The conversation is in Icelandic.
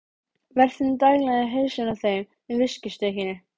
Vertinn danglaði í hausinn á þeim með viskustykkinu.